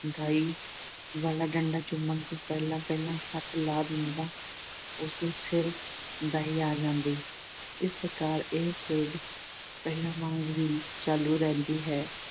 ਦਾਈ ਵਾਲਾ ਡੰਡਾ ਚੁੰਮਣ ਤੋਂ ਪਹਿਲਾਂ-ਪਹਿਲਾਂ ਹੱਥ ਲਾ ਦਿੰਦਾ ਉਸ ਦੇ ਸਿਰ ਦਾਈ ਆ ਜਾਂਦੀ। ਇਸ ਪ੍ਰਕਾਰ ਇਹ ਖੇਡ ਪਹਿਲਾਂ ਵਾਂਗ ਹੀ ਚਾਲੂ ਰਹਿੰਦੀ ਹੈ।